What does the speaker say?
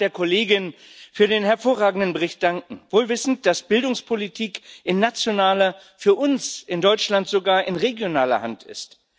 Ich darf der Kollegin für den hervorragenden Bericht danken wohl wissend, dass Bildungspolitik in nationaler, für uns in Deutschland sogar in regionaler Hand ist.